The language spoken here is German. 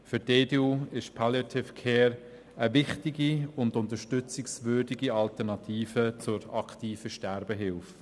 Für die EDU ist Palliative Care eine wichtige und unterstützungswürdige Alternative zur aktiven Sterbehilfe.